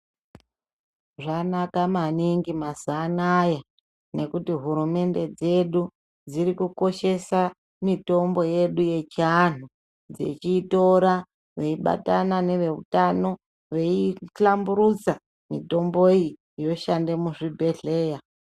Zvanaka maningi mazuwa anaa nekuti hurumende dzedu dzirikukoshesa mitombo yedu yechianhu dzechitora veibatana neveutano weihlamburusa mitombo iyi yoshanda muzvibhedhlera.